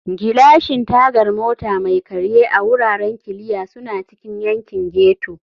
Gilashin Tagar Mota Mai Karye a Wuraren Kiliya suna cikin yankin ghetto.